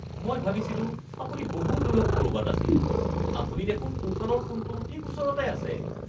মই ভাবিছিলোঁ আপুনি বহু দূৰত ক'ৰবাত আছিল। আপুনি দেখোন সোঁফালৰ কোণটোৰ ঠিক ওচৰতে আছে (স্থানীয় লোক)